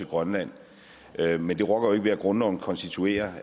grønland men det rokker jo ikke ved at grundloven konstituerer